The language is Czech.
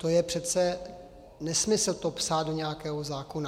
To je přece nesmysl, to psát do nějakého zákona.